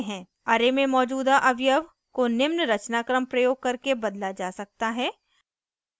array में मौजूदा अवयव को निम्न रचनाक्रम प्रयोग करके बदला जा सकता है